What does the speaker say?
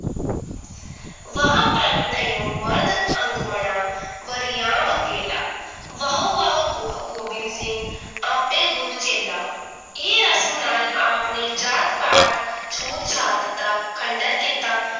ਵਹ ਪ੍ਰਗਟਿਯੋ ਮਰਦ ਅੰਗਮਣਾਂ ਵਰਿਯਾਮਕੇਲਾ ਵਹੁ-ਵਹੁ ਗੋ ਗੋਬਿੰਦ ਸਿੰਘ ਆਪੇ ਗੁਰੂ ਚੇਲਾ ਇਹ ਰਸਮ ਨਾਲ ਆਪਣੇ ਜਾਤ ਪਾਤ ਛੂਤ-ਛਾਤ ਦਾ ਖੰਡਨ ਕੀਤਾ